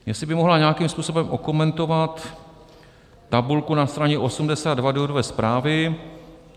jestli by mohla nějakým způsobem okomentovat tabulku na straně 82 důvodové zprávy.